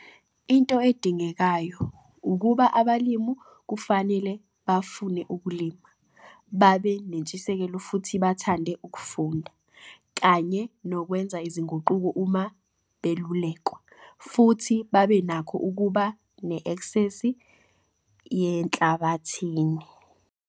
Into edingekayo ukuba abalimi kufanele bafune ukulima, babe nentshisekelo futhi bathande ukufunda, kanye nokwenza izinguquko uma belulekwa, futhi babe nakho ukuba ne-esksesi yenhlabathini.